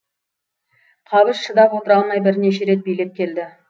шыдап отыра алмай бірнеше рет билеп келеді келді